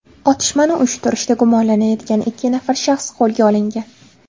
Otishmani uyushtirishda gumonlanayotgan ikki nafar shaxs qo‘lga olingan.